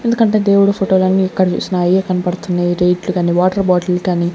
ఎందుకంటే దేవుడు ఫోటోలన్నీ ఎక్కడ జూస్నా అయే కన్పడ్తున్నాయి రేట్లు గని వాటర్ బాటిల్ కనీ.